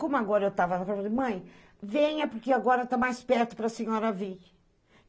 Como agora eu tava... Falei, mãe, venha, porque agora tá mais perto para senhora vir.